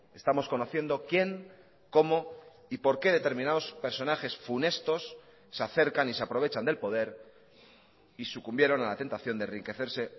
estamos conociendo quién cómo y por qué determinados personajes funestos se acercan y se aprovechan del poder y sucumbieron a la tentación de enriquecerse